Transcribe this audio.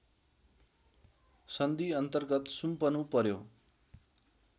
सन्धिअन्तर्गत सुम्पनु पर्‍यो